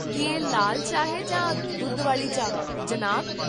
ਕੀ ਇਹ ਲਾਲ ਚਾਹ ਹੈ ਜਾਂ ਦੁੱਧ ਵਾਲੀ ਚਾਹ, ਜਨਾਬ?